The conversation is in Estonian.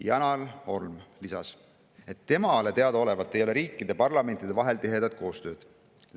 Janar Holm lisas, et temale teadaolevalt ei ole riikide parlamentide vahel tihedat koostööd.